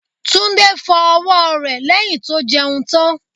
Tunde fọ ọwọ́ rẹ̀ lẹ́yìn tó jẹun tán.